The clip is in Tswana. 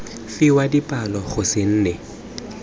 fiwa dipalo go se nne